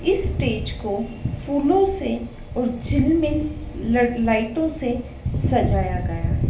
इस स्टेज को फूलों से और झिलमिल ल लाइटों से सजाया गया--